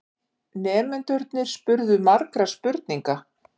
Nemendurnir spurðu margra spurninga.